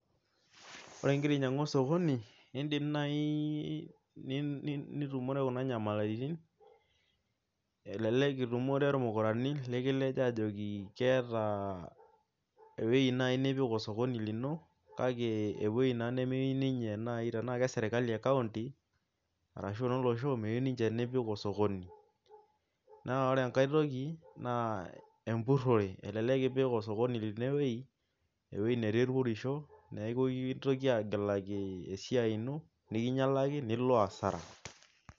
Ore ing'ira ainyiang'u osokoni niidim naai nitumore kuna nyamalitin elelek itumore irmukorani likilej aajoki ewueji naai nipik osokoni lino kake ewuei naai elelek aa ene county arashu aa enolosho meyieu ninche nipik osokoni naa ore enkae toki naa empurrore elelek ipik osokoni lino ewuei netii irpurrisho nikintoki aagilaki esiai ino nilo asara.